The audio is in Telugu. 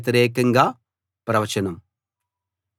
యెహోవా నాకీ విషయం తెలియచేశాడు